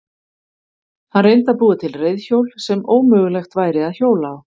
Hann reyndi að búa til reiðhjól sem ómögulegt væri að hjóla á.